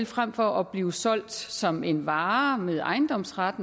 frem for at blive solgt som en vare med ejendomsret